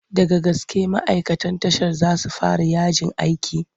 Daga gaske ma'aikan tashar za su fara yajin aiki?